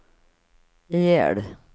ihjäl